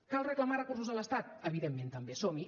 cal reclamar recursos a l’estat evidentment també som hi